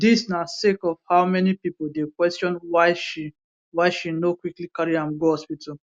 dis na sake of how many pipo dey question why she why she no quickly carry am go hospital